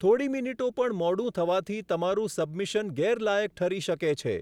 થોડી મિનિટો પણ મોડું થવાથી તમારું સબમિશન ગેરલાયક ઠરી શકે છે.